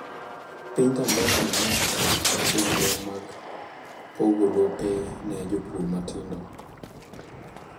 Piny Tanzania nochako chenro mag pogo lope ne jopur matindo.